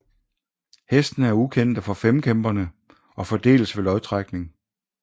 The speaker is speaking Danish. Hestene er ukendte for femkæmperne og fordeles ved lodtrækning